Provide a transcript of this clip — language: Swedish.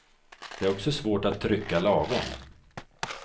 Det är också svårt att trycka lagom.